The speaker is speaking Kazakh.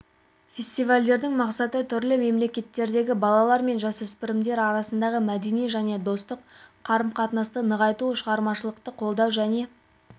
фестивалдьдің мақсаты түрлі мемлекеттердегі балалар мен жасөспірімдер арасындағы мәдени және достық қарым-қатынасты нығайту шығармашылықты қолдау және